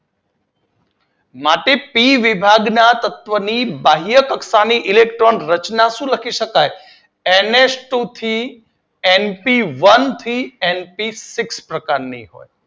માટે પી વિભાગના તત્વોની બાહ્ય કક્ષાના ઇલેક્ટ્રોન ની રચના શું લખી શકાય? એનએચટુ સી એનપીવન થી એનપી સિક્સ પ્રકારની